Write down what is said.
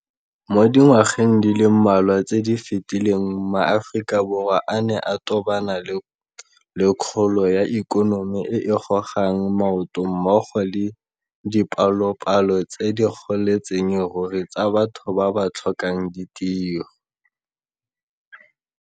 Mo dingwageng di le mmalwa tse di fetileng ma Aforika Borwa a ne a tobana le kgolo ya ikonomi e e gogang maoto mmogo le dipalopalo tse di goletseng ruri tsa batho ba ba tlhokang ditiro.